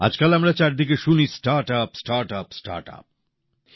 আজকাল আমরা চারদিকে শুনি স্টার্টআপ স্টার্টআপ স্টার্টআপ